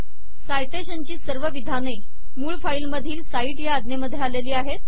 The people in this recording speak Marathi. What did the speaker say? साइटेशनची सर्व विधाने मूळ फाईल मधील साइट या अज्ञेमध्ये आलेली आहेत